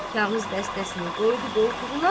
Kağız dəstəsini qoydu qoltuğuna